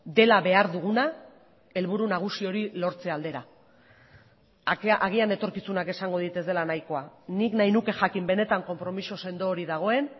dela behar duguna helburu nagusi hori lortze aldera agian etorkizunak esango dit ez dela nahikoa nik nahi nuke jakin benetan konpromiso sendo hori dagoen